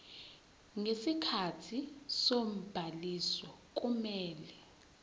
ngesikhathi sobhaliso kumele